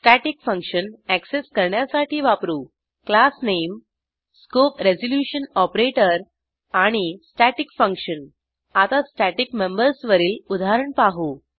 static function access करण्यासाठी वापरू classname160 scope resolution operator आणि staticfunction आता स्टॅटिक मेंबर्सवरील उदाहरण पाहू